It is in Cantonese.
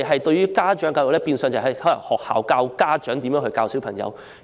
在現時制度下，學校教導家長應如何教導子女。